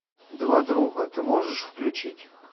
два друга ты можешь включить